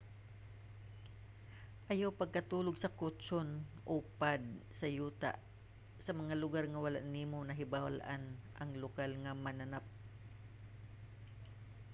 ayaw pagkatulog sa kutson o pad sa yuta sa mga lugar nga wala nimo nahibal-an ang lokal nga mananap